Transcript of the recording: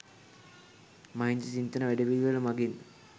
මහින්ද චින්තන වැඩපිළිවෙළ මගින්